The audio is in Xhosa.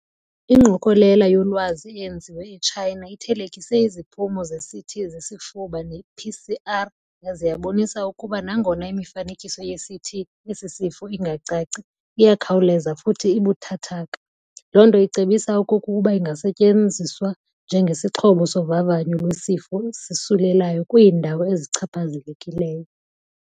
Ingqokelela yolwazi eyenziwe eChina ithelekise iziphumo zeCT zezifuba ne PCR yaze yabonisa ukuba nangona imifanekiso yeCT yesisifo ingacaci, iyakhawuleza futhi ibuthathaka, lonto icebisa okokuba ingasetyenziswa njenge sixhobo sovavanyo lwesisifo sisulelayo kwiindawo ezichaphazelekileyo.